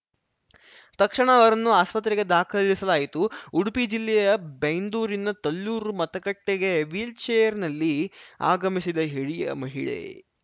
ತಕ್ಷಣ ಅವರನ್ನು ಆಸ್ಪತ್ರೆಗೆ ದಾಖಲಿಸಲಾಯಿತು ಉಡುಪಿ ಜಿಲ್ಲೆಯ ಬೈಂದೂರಿನ ತಲ್ಲೂರು ಮತಗಟ್ಟೆಗೆ ವೀಲ್‌ಚೇರ್‌ನಲ್ಲಿ ಆಗಮಿಸಿದ ಹಿರಿಯ ಮಹಿಳೆ